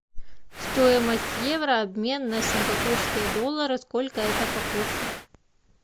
стоимость евро обмен на сингапурские доллары сколько это по курсу